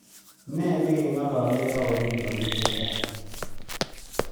Ne negengolole rauni konyil chechang